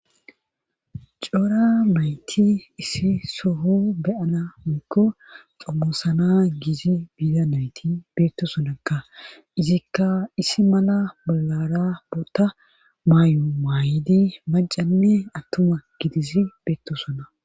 cora nayti issi sohon be7ana woykko xomoosana gizi biza nayti beettosonakka;izikka issi mala bollara boota mayo mayidi macanne attuma gidizi beettoosona.